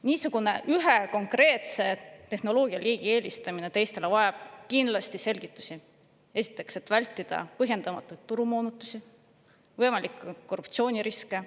Niisugune ühe konkreetse tehnoloogialiigi eelistamine teistele vajab kindlasti selgitusi, ja selleks, et vältida põhjendamatuid turumoonutusi, võimalikke korruptsiooniriske.